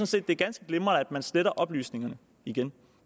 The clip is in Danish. set det er ganske glimrende at man sletter oplysningerne igen